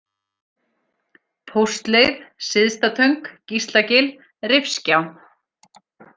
Póstleið, Syðsta-Töng, Gíslagil, Rifgjá